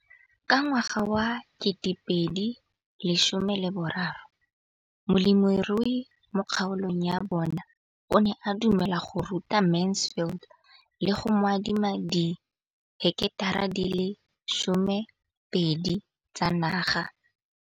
Ka ngwaga wa 2013, molemirui mo kgaolong ya bona o ne a dumela go ruta Mansfield le go mo adima di heketara di le 12 tsa naga.